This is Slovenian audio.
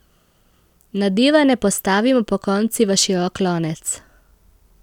Nadevane postavimo pokonci v širok lonec.